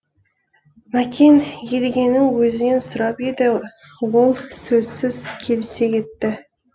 мәкең едігенің өзінен сұрап еді ол сөзсіз келісе кетті